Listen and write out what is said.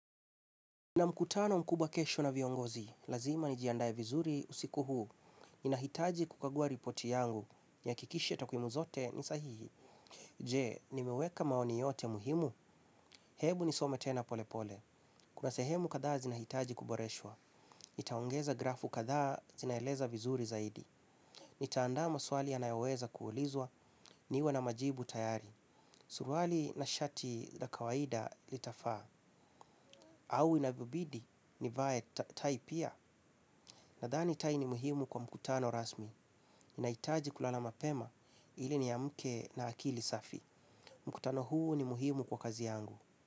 Nina mkutano mkubwa kesho na viongozi, lazima ni jiandae vizuri usiku huu. Ni nahitaji kukagua ripoti yangu, ni hakikishe takwimu zote ni sahihi. Je, nimeweka maoni yote muhimu? Hebu ni some tena pole pole. Kuna sehemu kadhaa zinahitaji kuboreshwa. Nitaongeza grafu kadhaa zinaeleza vizuri zaidi. Nitaanda maswali yanayoweza kuulizwa, niwe na majibu tayari. Suruali na shati la kawaida litafaa. Au inavyobidi, nivae tai pia. Nadhani tai ni muhimu kwa mkutano rasmi, nahitaji kulala mapema ili niamke na akili safi. Mkutano huu ni muhimu kwa kazi yangu.